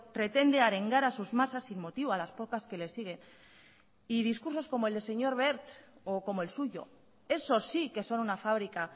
pretende arengar a sus masas sin motivo a las pocas que le sigue y discursos como el del señor wert o como el suyo eso sí que son una fabrica